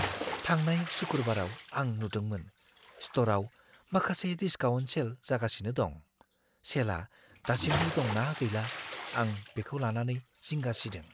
थांनाय सुकुरबाराव आं नुदोंमोन स्ट'रआव माखासे डिस्काउन्ट सेल जागासिनो दं। सेलआ दासिमबो दं ना गैला आं बेखौ लानानै जिंगा सिदों।